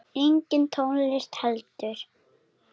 Engin tónlist heldur.